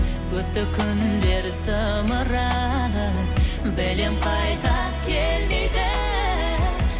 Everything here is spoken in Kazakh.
өтті күндер зымырады білем қайта келмейді